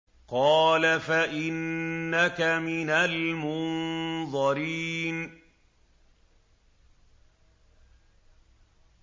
قَالَ فَإِنَّكَ مِنَ الْمُنظَرِينَ